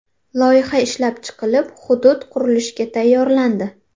Loyiha ishlab chiqilib, hudud qurilishga tayyorlandi.